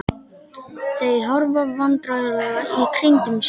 Þau horfa vandræðalega í kringum sig.